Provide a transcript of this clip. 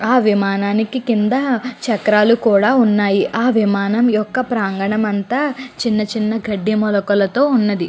ఆ విమానానికి కింద చెక్కరాలు కూడా వున్నాయి. ఆ విమనయం యొక్క ప్రాగణం అంతా చిన్న చిన్న గడ్డి మొలకలతో వున్నది.